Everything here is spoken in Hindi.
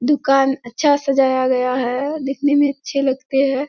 दुकान अच्छा सजाया से गया है दिखने मे अच्छे लगते है।